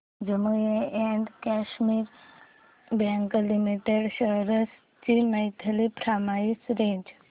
Jammu and Kashmir bank limited शेअर्स ची monthly price range